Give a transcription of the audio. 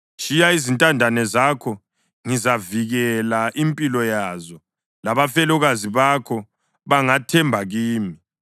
‘Tshiya izintandane zakho; ngizavikela impilo yazo labafelokazi bakho bangathemba kimi.’ ”